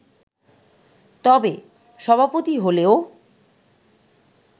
তবে, সভাপতি হলেও